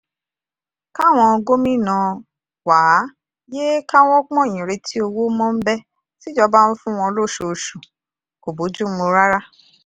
káwọn gómìnà wàá yéé káwọ́ pọ̀nyìn retí owó mọ́ńbé tíjọba ń fún wọn lóṣooṣù kò bójú mu rárá